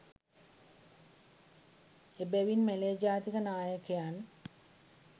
එබැවින් මැලේ ජාතික නායකයන්